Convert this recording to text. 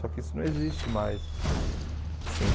Só que isso não existe mais. Assim